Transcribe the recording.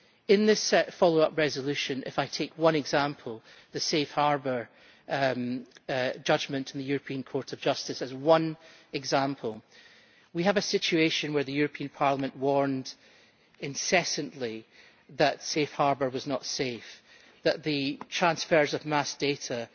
In this follow up resolution, if I take one example, the Safe Harbour judgment of the European Court of Justice, we have a situation where the European Parliament warned incessantly that Safe Harbour was not safe, that the transfers of mass data